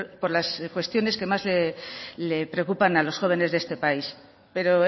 por las cuestiones que más les preocupan a los jóvenes de este país pero